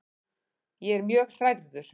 Ég er mjög hrærður.